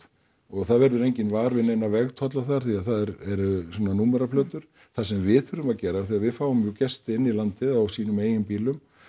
og það verður enginn var við neina vegtolla þar því það eru svona númeraplötur það sem við þurfum að gera af því að við fáum jú gesti inn í landið á sínum eigin bílum